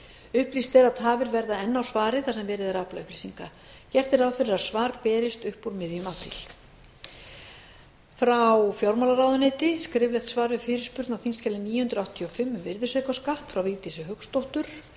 upplýst er að tafir verða enn á svari þar sem verið er að afla upplýsinga gert er ráð fyrir að svar berist upp úr miðjum apríl frá fjármálaráðuneyti skriflegt svar við fyrirspurn á þingskjali níu hundruð áttatíu og fimm um virðisaukaskatt frá vigdísi hauksdóttur